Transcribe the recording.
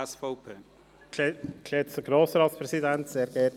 Ich spreche hier als Präsident der FiKo.